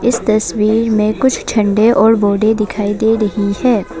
इस तस्वीर में कुछ झंडे और बाउंड्री दिखाई दे रही है।